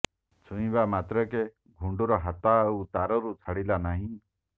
ଛୁଇଁବା ମାତ୍ରକେ ଘୁଣ୍ଡୁର ହାତ ଆଉ ତାରରୁ ଛାଡ଼ିଲା ନାହିଁ